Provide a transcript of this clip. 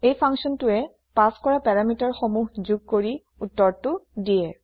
এই functionটোৱে পাচ কৰা পেৰামিটাৰ সমূহ যোগ কৰি উত্তৰটি দিয়ে